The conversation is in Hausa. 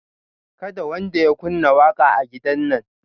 Kada wanda ya kunna waƙa a gidan nan